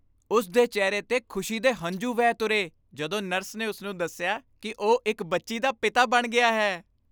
ਉਸ ਦੇ ਚਿਹਰੇ 'ਤੇ ਖੁਸ਼ੀ ਦੇ ਹੰਝੂ ਵਹਿ ਤੁਰੇ ਜਦੋਂ ਨਰਸ ਨੇ ਉਸ ਨੂੰ ਦੱਸਿਆ ਕਿ ਉਹ ਇੱਕ ਬੱਚੀ ਦਾ ਪਿਤਾ ਬਣ ਗਿਆ ਹੈ।